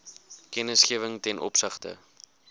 kennisgewing ten opsigte